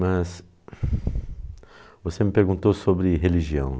Mas você me perguntou sobre religião.